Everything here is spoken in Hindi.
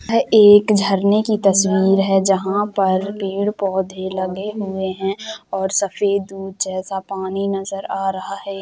यह एक झरने की तस्वीर है जहां पर पेड़-पौधे लगे हुए है और सफेद दूध जैसा पानी नज़र आ रहा है।